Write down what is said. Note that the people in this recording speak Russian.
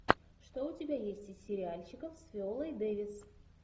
что у тебя есть из сериальчиков с виолой дэвис